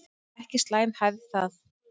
Ekki slæm hefð það.